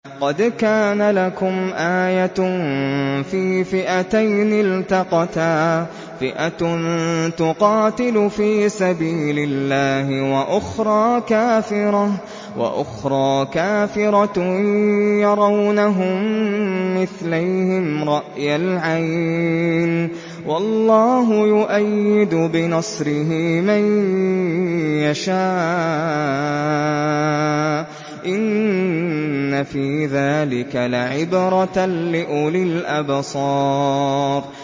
قَدْ كَانَ لَكُمْ آيَةٌ فِي فِئَتَيْنِ الْتَقَتَا ۖ فِئَةٌ تُقَاتِلُ فِي سَبِيلِ اللَّهِ وَأُخْرَىٰ كَافِرَةٌ يَرَوْنَهُم مِّثْلَيْهِمْ رَأْيَ الْعَيْنِ ۚ وَاللَّهُ يُؤَيِّدُ بِنَصْرِهِ مَن يَشَاءُ ۗ إِنَّ فِي ذَٰلِكَ لَعِبْرَةً لِّأُولِي الْأَبْصَارِ